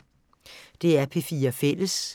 DR P4 Fælles